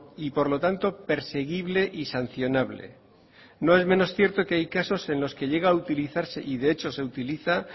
y por lo tanto perseguible y sancionable no es menos cierto que hay casos en los que llega a utilizarse y de hecho se utiliza